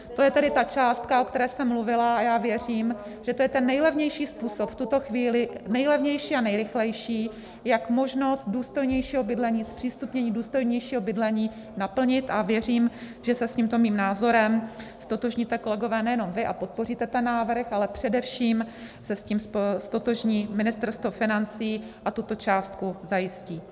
To je tedy ta částka, o které jste mluvila, a já věřím, že to je ten nejlevnější způsob, v tuto chvíli nejlevnější a nejrychlejší, jak možnost důstojnějšího bydlení, zpřístupnění důstojnějšího bydlení naplnit, a věřím, že se s tímto mým názorem ztotožníte, kolegové, nejenom vy a podpoříte ten návrh, ale především se s tím ztotožní Ministerstvo financí a tuto částku zajistí.